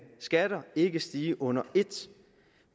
skatter ikke stige under ét